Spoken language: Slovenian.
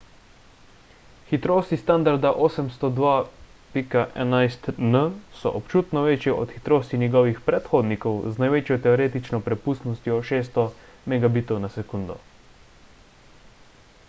hitrosti standarda 802.11n so občutno večje od hitrosti njegovih predhodnikov z največjo teoretično prepustnostjo 600 mbit/s